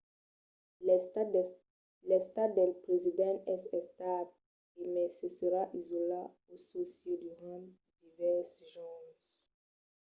l'estat del president es estable e mai se serà isolat en çò sieu durant divèrses jorns